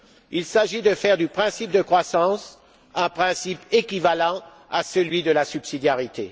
Il s'agit de faire du principe de croissance un principe équivalent à celui de la subsidiarité.